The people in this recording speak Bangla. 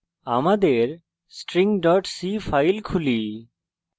আমাদের string c file খুলি